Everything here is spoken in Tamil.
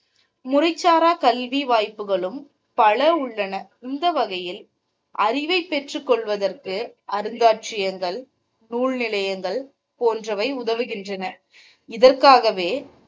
முறைசாரா கல்வி வாய்ப்புகளும் பல உள்ளன இந்த வகையில் அறிவை பெற்றுக்கொள்வதற்கு அருங்காட்சியகங்கள் நூல்நிலையங்கள் போன்றவை உதவுகின்றன. இதற்காகவே,